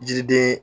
Jiriden